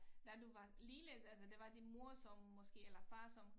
Da du var lille altså der var din mor så måske eller far så